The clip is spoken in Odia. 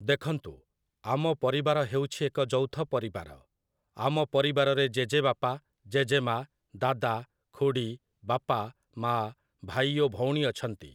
ଦେଖନ୍ତୁ, ଆମ ପରିବାର ହେଉଛି ଏକ ଯୌଥ ପରିବାର । ଆମ ପରିବାରରେ ଜେଜେବାପା, ଜେଜେମା, ଦାଦା, ଖୁଡ଼ୀ, ବାପା, ମାଆ, ଭାଇ ଓ ଭଉଣୀ ଅଛନ୍ତି ।